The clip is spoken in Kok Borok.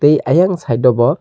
eii aiang side o bo.